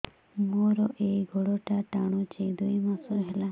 ମୋର ଏଇ ଗୋଡ଼ଟା ଟାଣୁଛି ଦୁଇ ମାସ ହେଲା